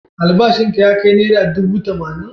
Albashinka ya kai naira dubu tamanin?